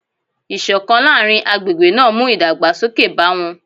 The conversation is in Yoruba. Ìṣọ̀kan láàrin agbègbè náà mú ìdàgbàsókè bá wọn